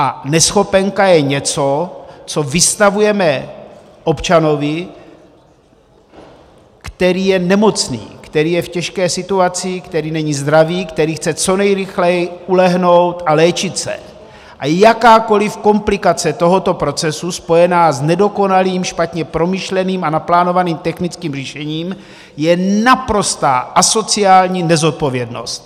A neschopenka je něco, co vystavujeme občanovi, který je nemocný, který je v těžké situaci, který není zdravý, který chce co nejrychleji ulehnout a léčit se, a jakákoliv komplikace tohoto procesu spojená s nedokonalým, špatně promyšleným a naplánovaným technickým řešením je naprostá asociální nezodpovědnost!